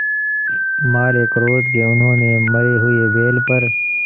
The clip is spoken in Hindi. मारे क्रोध के उन्होंने मरे हुए बैल पर